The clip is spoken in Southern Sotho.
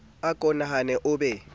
a ko nahane o be